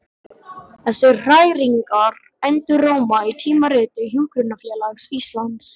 Þessar hræringar enduróma í Tímariti Hjúkrunarfélags Íslands.